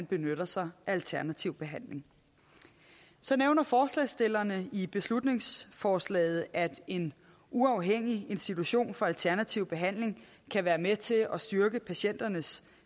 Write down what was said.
benytter sig af alternativ behandling så nævner forslagsstillerne i beslutningsforslaget at en uafhængig institution for alternativ behandling kan være med til at styrke patienternes